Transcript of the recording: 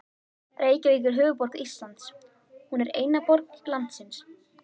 Reykjavík er höfuðborg Íslands. Hún er eina borg landsins.